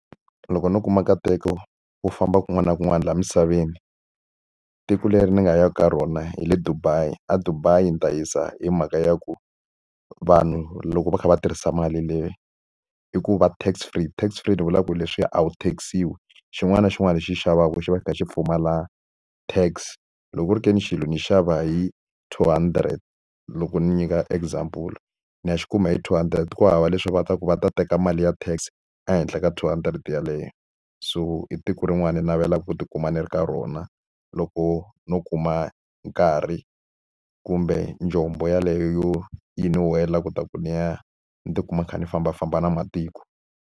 Loko no kuma nkateko wo famba kun'wana na kun'wana laha misaveni, tiko leri ni nga yaka ka rona hi le Dubai. EDubai ndzi ta yisa hi mhaka ya ku vanhu loko va kha va tirhisa mali le, i ku va tax free. Tax free ni vula ku ri leswiya a wu tax-iwi, xin'wana na xin'wana lexi u xi xavaka u xi xava xi kha xi pfumala tax. Loko ku ri ke ni xilo ni xava hi two hundred loko ni nyika example, ni ya xi kuma hi two hundred. Ku hava le swa ku va ta ku va ta teka mali ya tax ehenhla ka two hundred yeleyo. So i tiko rin'wana ni navelaka ku tikuma ni ri ka rona, loko no kuma nkarhi kumbe njombo yeleyo yo yi ni wela leswaku ni ya ni tikuma ni kha ni fambafamba na matiko.